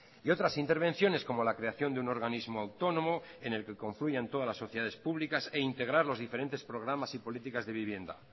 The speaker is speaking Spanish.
y otras intervenciones como la creación de un organismo autónomo en el que confluyan todas las sociedades públicas e integrar los diferentes programas y políticas de vivienda